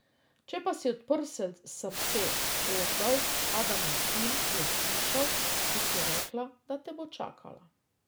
Če pa bi odprl srce, Ožbalt, Adamov sin, bi jo slišal, ko ti je rekla, da te bo čakala ...